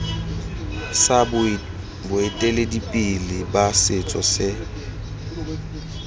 sa boeteledipele ba setso se